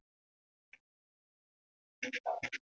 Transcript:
Smyrill, hvað er klukkan?